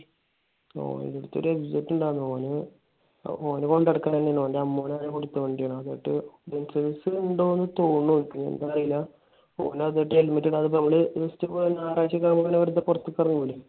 ഓന്റടുത്തൊരു MZ ഇണ്ടായിരുന്ന്. ഓന് ഓന് കൊണ്ട് നടക്കണത് തന്നെയാണ്. ഓന്റെ അമ്മായി എന്തോ കൊടുത്ത വണ്ടിയാണ്. licence ഇണ്ടെന്ന് തോന്നണു എനിക്ക്. ഇണ്ടോന്ന് അറിയില്ല. ഓൻ അതെടുത്ത് helmet ഇല്ലാതെ നമ്മൾ just വെറുതെ ഞായറാഴ്ചയൊക്കെ നമ്മൾ പുറത്തേക്ക് ഇറങ്ങൂലെ?